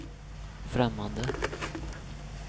främmande